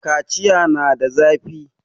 kaciya na da zafi